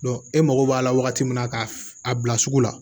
e mago b'a la wagati min na k'a bila sugu la